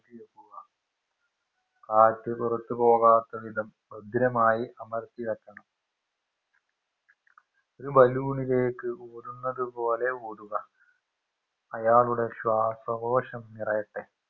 കുക കാറ്റ് പുറത്തേക്ക് പോകാത്ത വിധം ഭദ്രമായി അമർത്തി വെക്കണം ഒരു balloon ലേക്ക് ഊതുന്നത് പോലെ ഊതുക അയാളുടെ ശ്വാസകോശം നിറയട്ടെ